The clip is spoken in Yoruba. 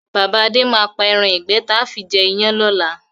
Bàbá Adé máa pa ẹran ìgbẹ́ taa fi jẹ iyán lọ́la.